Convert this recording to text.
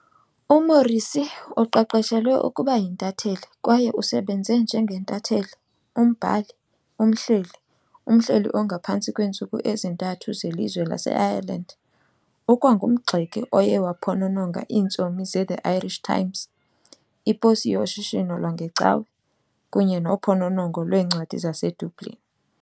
UMorrissy uqeqeshelwe ukuba yintatheli kwaye usebenze njengentatheli - umbhali - umhleli - umhleli ongaphantsi kweentsuku ezintathu zelizwe laseIreland. Ukwangumgxeki oye waphonononga iintsomi zeThe "Irish Times", "iPosi yoShishino lwangeCawa", kunye "noPhononongo lweencwadi zaseDublin" .